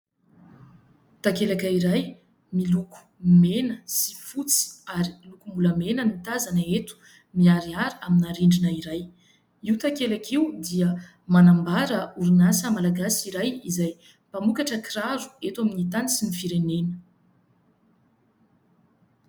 Takelaka iray miloko mena sy fotsy ary lokom-bolamena no tazana eto, miharihary amina rindrina iray. Io takelaka io dia manambara orinasa malagasy iray izay mpamokatra kiraro eto amin'ny tany sy ny firenena.